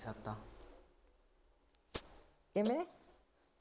ਕਿਵੇਂ?